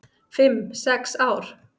"""Fimm, sex ár?"""